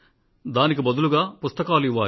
దానికి బదులుగా పుస్తకాలు ఇవ్వాలి